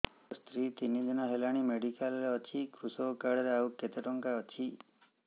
ମୋ ସ୍ତ୍ରୀ ତିନି ଦିନ ହେଲାଣି ମେଡିକାଲ ରେ ଅଛି କୃଷକ କାର୍ଡ ରେ ଆଉ କେତେ ଟଙ୍କା ଅଛି